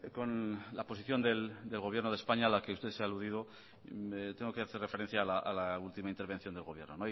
con la posición del gobierno de españa a la que usted se ha aludido tengo que hacer referencia a la última intervención del gobierno